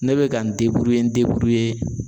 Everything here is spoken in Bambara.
Ne bɛ ka n n